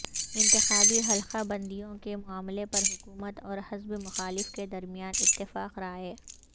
انتخابی حلقہ بندیوں کے معاملہ پر حکومت اور حزب مخالف کے درمیان اتفاق رائے